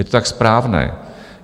Je to tak správné.